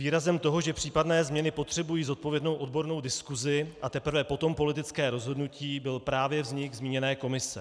Výrazem toho, že případné změny potřebují zodpovědnou odbornou diskusi a teprve potom politické rozhodnutí, byl právě vznik zmíněné komise.